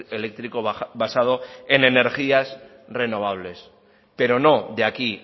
eléctrico basado en energías renovables pero no de aquí